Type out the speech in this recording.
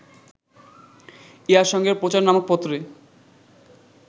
ইহার সঙ্গে প্রচার নামক পত্রে